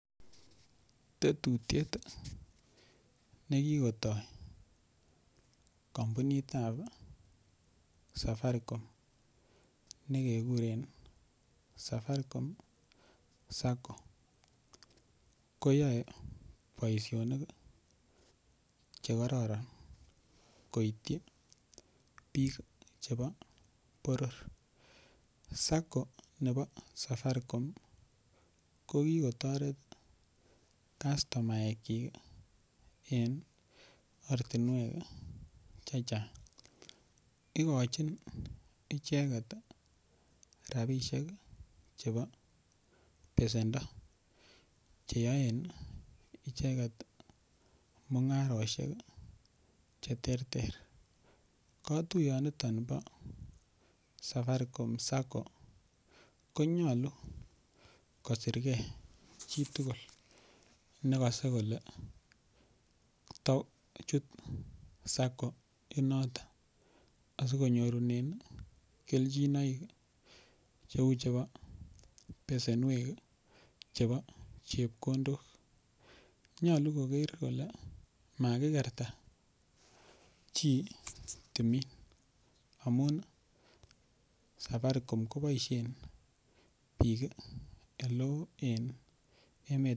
Tetutyet nekikotoi kampunitab safaricom nekekuren safaricom Sacco ko yoei boishonik chekororon koityi biik chebo boror Sacco nebo safaricom kokikotoret kastomaek chin en ortinwek chechang' ikochin icheget rabishek chebo besendo cheyoen icheget mung'aroshek cheterter katuyoniton bo safaricom Sacco konyolu kosirgei chi tugul nekosei kole to chuto Saccoit noto asikonyor kelchinoik cheu chebo besenwek chebo chepkondok nyolu koker kole makikerta chi timin amun safaricom koboishen biik ole oo en emet